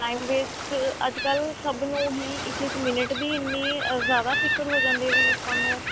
time waste ਅੱਜਕਲ ਸਭ ਨੂੰ ਹੀ ਇੱਕ ਇੱਕ minute ਦੀ ਇੰਨੀ ਜ਼ਿਆਦਾ ਫਿਕਰ ਹੋ ਜਾਂਦੀ ਹੈ ਵੀ ਆਪਾਂ ਨੂੰ